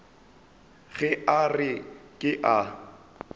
ge a re ke a